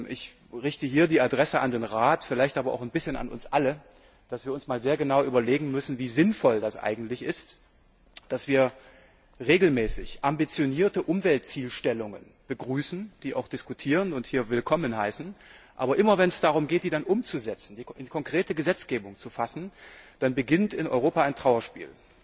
Ich richte hier den Appell an den Rat, vielleicht aber auch ein bisschen an uns alle, dass wir uns einmal sehr genau überlegen müssen, wie sinnvoll das eigentlich ist, dass wir regelmäßig ambitionierte Umweltzielstellungen begrüßen, sie auch diskutieren und hier willkommen heißen, aber immer, wenn es darum geht, sie dann umzusetzen, in konkrete Gesetzgebung zu fassen, dann beginnt in Europa ein Trauerspiel.